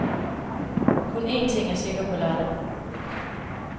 Kun en ting er sikker på lørdag.